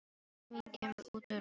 Rödd mín kemur út úr röri.